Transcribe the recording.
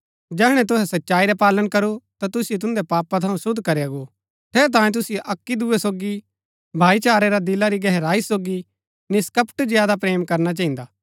जैहणै तुहै सच्चाई रा पालन करू ता तुसिओ तुन्दै पापा थऊँ शुद्ध करया गो ठेरैतांये तुसिओ अक्की दूये सोगी भाईचारै रा दिला री गहराई सोगी निष्‍कपट ज्यादा प्रेम करना चहिन्दा